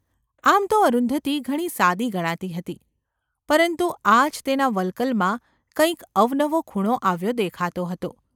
આમ તો અરુંધતી ઘણી સાદી ગણાતી હતી, પરંતુ આજ તેના વલ્કલમાં કંઈ અવનવો ખૂણો આવ્યો દેખાતો હતો.